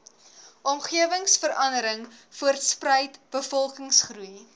omgewingsverandering voortspruit bevolkingsgroei